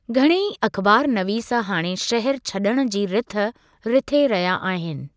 घणेई अख़बारनवीस हाणे शहर छड॒णु जी रिथ रिथे रहिया आहिनि।